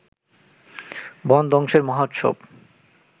বন ধ্বংসের মহোৎসব